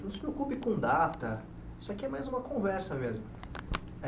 Não se preocupe com data, isso aqui é mais uma conversa mesmo.